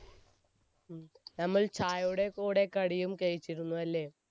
നമ്മൾ ചായയുടെ കൂടെ കടിയും കഴിച്ചിരുന്നു അല്ലെ